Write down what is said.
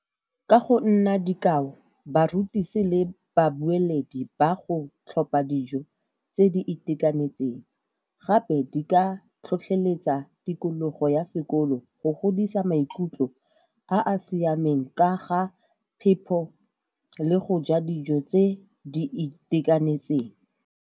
Ka go nna dikao, barutisi le babueledi ba go tlhopa dijo tse di itekanetseng. Gape di ka tlhotlheletsa tikologo ya sekolo, go godisa maikutlo a a siameng ka ga phepho le go ja dijo tse di itekanetseng.